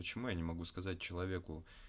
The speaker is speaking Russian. почему я не могу сказать человеку